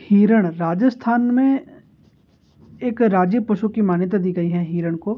हिरण राजस्थान में एक राज्य पशु की मान्यता दी गई है हिरण को।